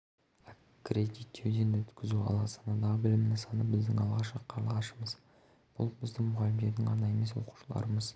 аккредиттеуден өткізу ал астанадағы білім нысаны біздің алғашқы қарлығашымыз бұл біздің мұғалімдердің ғана емес оқушыларымыз